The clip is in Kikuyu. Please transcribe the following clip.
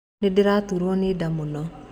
Nĩndĩraturo nĩ nda mũno